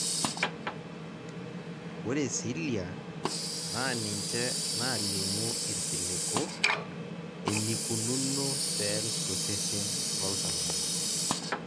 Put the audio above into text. ore cilia naa ninche naalimu irkiliku enikununo cells tosesen loltung'ani.